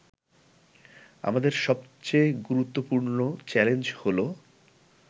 আমাদের সবচেয়ে গুরুত্বপূর্ণ চ্যালেঞ্জ হল